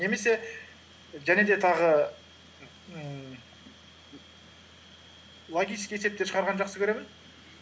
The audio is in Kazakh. немесе және де тағы ммм логический есептер шығарғанды жақсы көремін